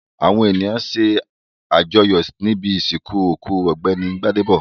Àwọn ènìyàn ṣàjọyọ̀ níbi ìsìnkú òkú Ọ̀gbẹ́ni Gbádébọ̀.